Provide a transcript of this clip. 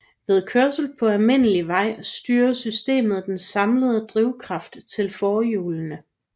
Ved kørsel på almindelig vej styrer systemet den samlede drivkraft til forhjulene